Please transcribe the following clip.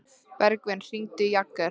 Bergvin, hringdu í Jagger.